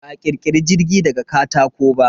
Ba a ƙirkiri jirgi daga katako ba.